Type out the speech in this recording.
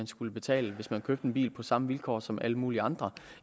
skulle betale hvis man købte en bil på samme vilkår som alle mulige andre